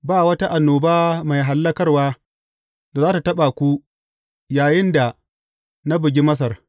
Ba wata annoba mai hallakarwa da za tă taɓa ku yayinda na bugi Masar.